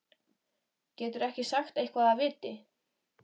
Geturðu ekki sagt eitthvað af viti?